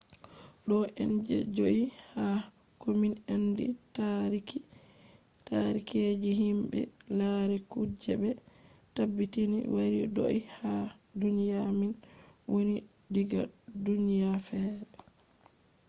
ɗo on je joi ha komin andi taariki je himɓe lari kuje ɓe tabbitini wari do’i ha duniya min woni diga duniya fere